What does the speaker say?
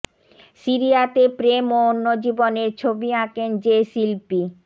সিরিয়াতে প্রেম ও অন্য জীবনের ছবি আঁকেন যে শিল্পী